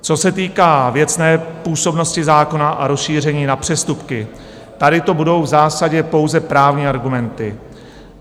Co se týká věcné působnosti zákona a rozšíření na přestupky, tady to budou v zásadě pouze právní argumenty.